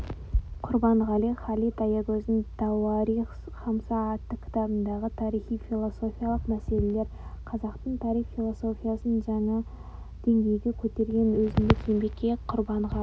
құрбанғали халид аягөзидің тауарих хамса атты кітабындағы тарихи-философиялық мәселелер қазақтың тарих философиясын жаңа деңгейге көтерген өзіндік еңбекке құрбанғали